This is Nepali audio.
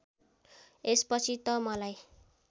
यसपछि त मलाई